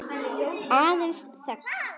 Aðeins þögn.